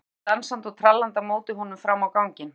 Mamma kom dansandi og trallandi á móti honum fram á ganginn.